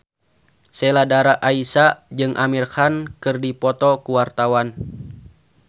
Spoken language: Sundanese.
Sheila Dara Aisha jeung Amir Khan keur dipoto ku wartawan